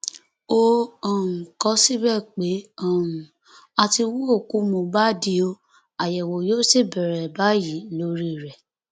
ó um kọ ọ síbẹ pé um a ti hu òkú mohbad ọ àyẹwò yóò sì bẹrẹ báyìí lórí rẹ